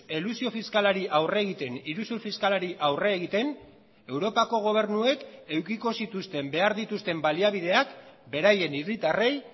elusio fiskalari aurre egiten iruzur fiskalari aurre egiten europako gobernuek edukiko zituzten behar dituzten baliabideak beraien hiritarrei